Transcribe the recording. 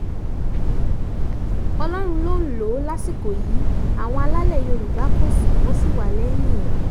ọlọ́run ló ń lò ó lásìkò yìí àwọn alálẹ̀ yorùbá kò sún wọn sí wa lẹ́yìn ẹ̀